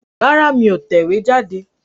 Rárá, mí ò tẹ̀wéjáde